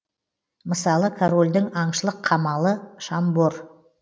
мысалы корольдің аңшылық қамалы шамбор